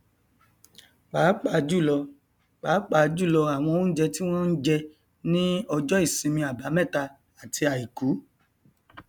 pàápàá jùlọ pàápàá jùlọ àwọn oúnjẹ tí wọn n jẹ ní ọjọ ìsinmin àbámẹta àti àìkú